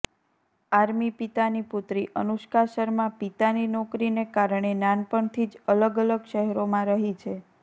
army પિતાની પુત્રી અનુષ્કા શર્મા પિતાની નોકરીને કારણે નાનપણથી જ અલગ અલગ શહેરોમાં રહી છે